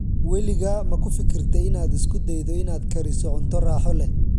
Weligaa ma ku fikirtay inaad isku daydo inaad kariso cunto raaxo leh?